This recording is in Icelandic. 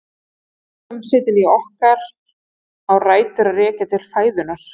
Líkamshitinn í okkar á rætur að rekja til fæðunnar.